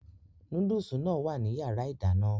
Núdùsì náà wà ní yàrá ìdáná